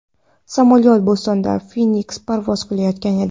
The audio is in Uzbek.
Samolyot Bostondan Feniksga parvoz qilayotgan edi.